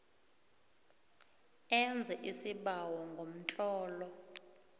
enze isibawo ngomtlolo